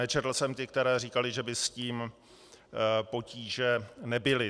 Nečetl jsem ty, které říkaly, že by s tím potíže nebyly.